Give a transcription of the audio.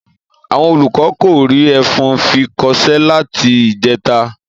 Àwon olùkó kò rí efun fi kosé láti ìjeta